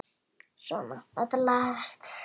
Svona, þetta lagast